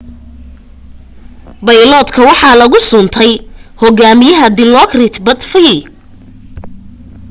bayloodka waxaa lagu suntay hogaamiyaha dilokrit pattavee